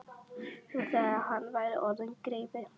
Nú þegar hann væri orðinn greifi.